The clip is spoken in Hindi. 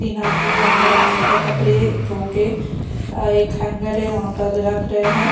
तीन आदमी वहाँ पर अप कपरे धोके एक हैंगर है वहाँ पर रख रहे हैं।